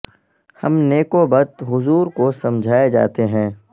ہم نیک و بد حضور کو سمجھائے جاتے ہیں